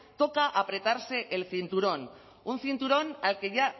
toca apretarse el cinturón un cinturón al que ya